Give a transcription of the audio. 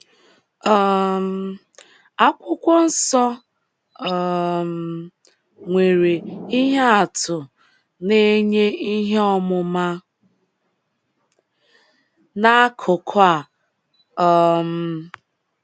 um Akwụkwọ nsọ um nwere ihe atụ na - enye ihe ọmụma n’akụkụ a um.